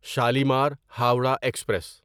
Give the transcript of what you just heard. Shalimar Howrah express